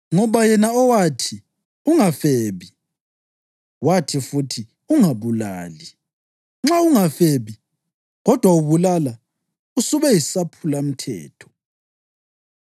Ngoba yena owathi, “Ungafebi,” + 2.11 U-Eksodasi 20.14; UDutheronomi 5.18 wathi futhi, “Ungabulali.” + 2.11 U-Eksodasi 20.13; UDutheronomi 5.17 Nxa ungafebi, kodwa ubulala, usube yisaphulamthetho.